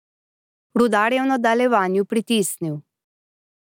Rudar je v nadaljevanju pritisnil.